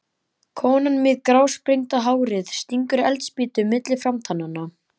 Konan með grásprengda hárið stingur eldspýtu milli framtannanna.